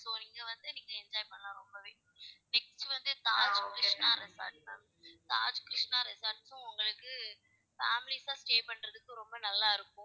இங்க வந்து நீங்க enjoy பண்ணலாம் ரொம்பவே next வந்து தாஜ் hotel தான் இருக்கு அத பாக்கலாம். தாஜ் resort வந்து உங்களுக்கு, families சா stay பண்றதுக்கு ரொம்ப நல்லா இருக்கும்.